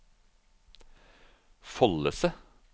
Follese